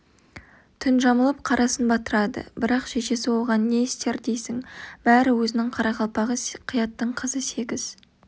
түн жамылып қарасын батырады бірақ шешесі оған не істер дейсің бәрі өзінің қарақалпағы қияттың қызы сегіз